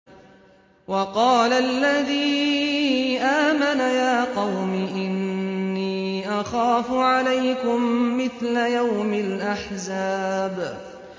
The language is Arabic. وَقَالَ الَّذِي آمَنَ يَا قَوْمِ إِنِّي أَخَافُ عَلَيْكُم مِّثْلَ يَوْمِ الْأَحْزَابِ